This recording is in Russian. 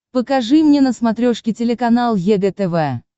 покажи мне на смотрешке телеканал егэ тв